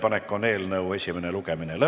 Istungi lõpp kell 21.36.